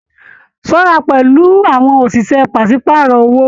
Ṣọra pẹlú àwọn oṣiṣẹ pàsepàárọ̀ owó!